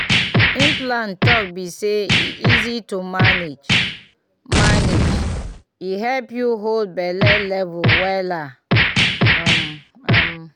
implant talk be say e easy to manage — manage — e help you hold belle level wella um um.